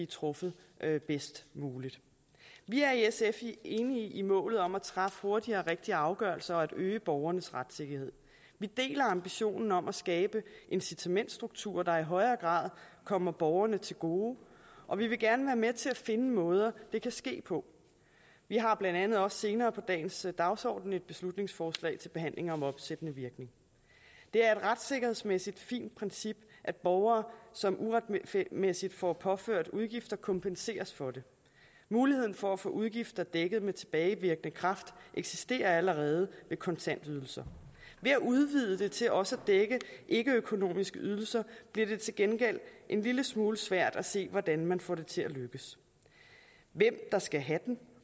truffet bedst muligt vi er i sf enige i målet om at træffe hurtige og rigtige afgørelser og øge borgernes retssikkerhed vi deler ambitionen om at skabe incitamentsstrukturer der i højere grad kommer borgerne til gode og vi vil gerne være med til at finde måder det kan ske på vi har blandt andet også senere på dagens dagsorden et beslutningsforslag til behandling om opsættende virkning det er et retssikkerhedsmæssigt fint princip at borgere som uretmæssigt får påført udgifter kompenseres for det muligheden for at få udgifter dækket med tilbagevirkende kraft eksisterer allerede ved kontantydelser ved at udvide det til også at dække ikkeøkonomiske ydelser bliver det til gengæld en lille smule svært at se hvordan man får det til at lykkes hvem der skal have dem